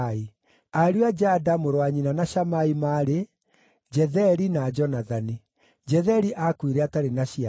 Ariũ a Jada, mũrũ wa nyina na Shamai, maarĩ: Jetheri na Jonathani. Jetheri aakuire atarĩ na ciana.